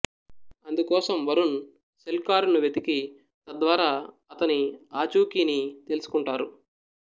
అందుకోసం వరుణ్ సెల్ కారుని వెతికి తద్వారా అతని ఆచూకీని తెలుసుకుంటారు